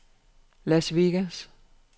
Las Vegas